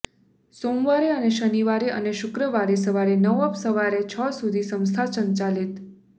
સોમવારે અને શનિવારે અને શુક્રવારે સવારે નવ અપ સવારે છ સુધી સંસ્થા સંચાલિત